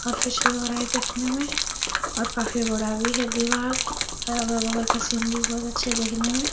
काफी रहा है देखने में और काफी बड़ा भी है दीवाल और अगल बगल का सीन भी बहुत अच्छा देखने में।